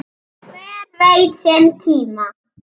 Hver veit sinn tíma?